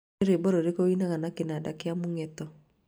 nĩ rwĩmbo rũrĩkũ ũinaga na kĩnanda kĩa mũgeeto